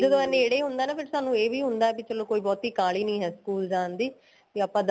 ਜਦੋਂ ਇਹ ਨੇੜੇ ਹੁੰਦਾ ਨਾ ਫੇਰ ਸਾਨੂੰ ਇਹ ਵੀ ਹੁੰਦਾ ਬੀ ਚਲੋ ਕੋਈ ਬਹੁਤੀ ਕਾਲੀ ਨੀਂ ਹੈ school ਜਾਣ ਦੀ ਬੀ ਆਪਾਂ